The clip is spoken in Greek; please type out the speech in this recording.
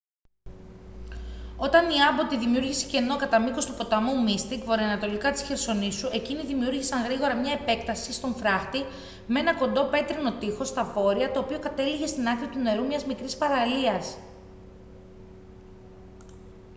όταν η άμπωτη δημιούργησε κενό κατά μήκος του ποταμού μίστικ βορειοανατολικά της χερσονήσου εκείνοι δημιούργησαν γρήγορα μια επέκταση στον φράχτη με ένα κοντό πέτρινο τείχος στα βόρεια το οποίο κατέληγε στην άκρη του νερού μιας μικρής παραλίας